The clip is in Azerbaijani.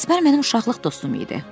Əsbər mənim uşaqlıq dostum idi.